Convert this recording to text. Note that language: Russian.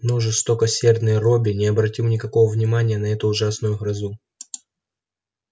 но жестокосердный робби не обратил никакого внимания на эту ужасную грозу